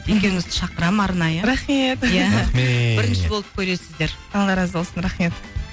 екеуіңізді шақырамын арнайы рахмет иә рахмет бірінші болып көресіздер алла разы болсын рахмет